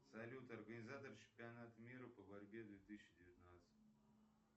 салют организатор чемпионата мира по борьбе две тысячи девятнадцать